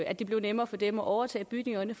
at det bliver nemmere for dem at overtage bygningerne